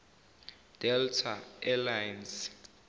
delta air lines